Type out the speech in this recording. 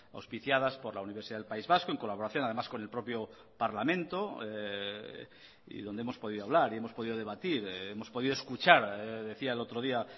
auspiciadas por la universidad del país vasco en colaboración además con el propio parlamento y donde hemos podido hablar y hemos podido debatir hemos podido escuchar decía el otro día